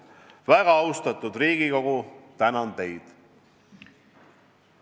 Väga austatud Riigikogu, tänan teid!